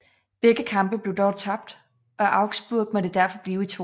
Begge kampe blev dog tabt og Augsburg måtte derfor blive i 2